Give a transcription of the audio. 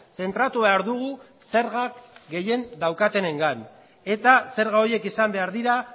zentratu behar dugu zergak gehien daukatenengan eta zerga horiek izan behar dira